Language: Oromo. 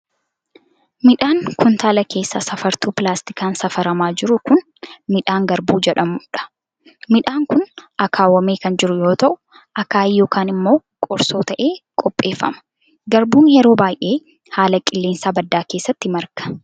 Midhaan kuntaala keessaa safartuu pilaastikaan safaramaa jiru kun, midhaan garbuu jedhamuu dha. Midhaan kun, akaawwamee kan jiru yoo ta'u, akaayii yokin immoo qorsoo ta'ee qopheeffame. Garbuun yeroo baay'ee haala qilleensaa baddaa keessatti marga.